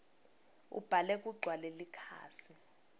ubhale kugcwale likhasi